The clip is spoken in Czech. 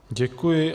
Děkuji.